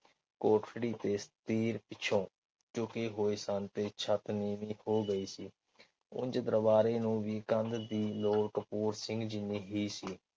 ਕੋਠੜੀ ਦੇ ਛਤੀਰ ਪਿੱਛੋਂ ਚੁਕੇ ਹੋਏ ਸਨ ਤੇ ਛੱਤ ਨੀਵੀਂ ਹੋ ਗਈ ਸੀ ਉਂਜ ਦਰਬਾਰੇ ਨੂੰ ਵੀ ਕੰਧ ਦੀ ਲੋੜ ਕਪੂਰ ਸਿੰਘ ਜਿਨ੍ਹੀ ਹੀ ਸੀ।